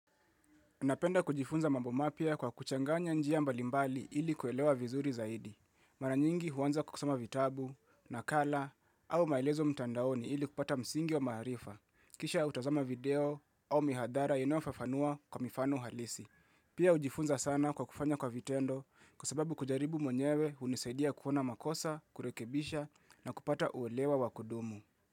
Napenda kujifunza mambo mapya kwa kuchanganya njia mbalimbali ili kuelewa vizuri zaidi. Maranyingi huanza kusoma vitabu, nakala, au maelezo mtandaoni ili kupata msingi wa maharifa. Kisha utazama video au mihadara inayo fafanua kwa mifano halisi. Pia hujifunza sana kwa kufanya kwa vitendo kwa sababu kujaribu mwenyewe hunisaidia kuona makosa, kurekebisha na kupata uelewa wakudumu.